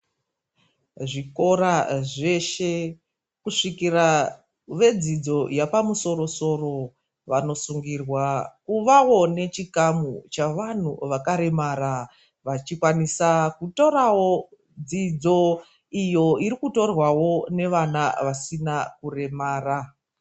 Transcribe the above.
Zvikora zveshe kusvikira vedzidzo yapamusoro -soro vanosungirwa kuvawo nechikamu chevanthu vakaremara, vachikwanisa kutorawo dzidzo iyo irikutorwawo nevana vasina kuremara.